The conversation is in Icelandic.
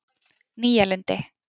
Nýja Lundi